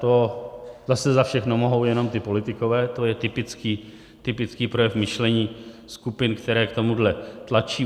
To zase za všechno mohou jenom ti politikové, to je typický projev myšlení skupin, které k tomuhle tlačí.